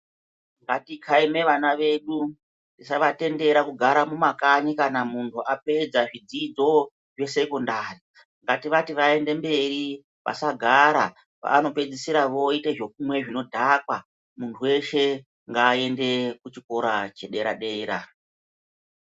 Ngatikhaime vana vedu tisavatendara kugara mumakanyi kana muntu apedza zvidzidzo zvesekondari ngativati vaende mberi vasagara vanopedzisira voite zvekumwe zvinodhakwa muntu weshe ngaaende kuchikora chedera dera.